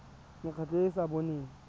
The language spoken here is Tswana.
mekgatlho e e sa boneng